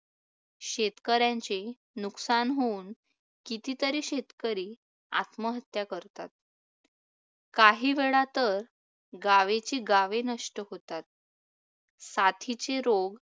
शेतकऱ्यांचे नुकसान होऊन कितीतरी शेतकरी आत्महत्या करतात. काहीवेळा तर गावेची गावे नष्ट होतात. साथीचे रोग